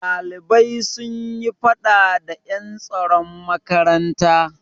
Ɗalibai sun yi faɗa da ƴan tsaron makaranta.